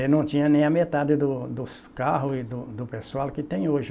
E não tinha nem a metade do dos carros e do pessoal que tem hoje.